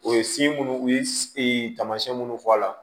O ye minnu u ye tamasiyɛn minnu fɔ a la